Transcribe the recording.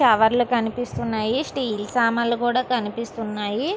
కవర్లు కనిపిస్తున్నాయి స్టీలు సామాన్లు కూడా కనిపిస్తున్నాయి.